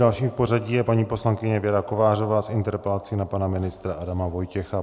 Další v pořadí je paní poslankyně Věra Kovářová s interpelací na pana ministra Adama Vojtěcha.